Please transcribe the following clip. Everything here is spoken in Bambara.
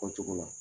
Fɔ cogo la